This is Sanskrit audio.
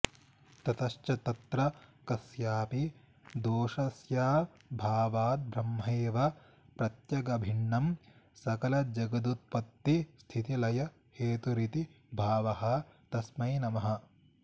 ततश्च तत्र कस्यापि दोषस्याभावाद् ब्रह्मैव प्रत्यगभिन्नं सकलजगदुत्पत्तिस्थितिलयहेतुरिति भावः तस्मै नमः